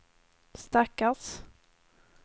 stackars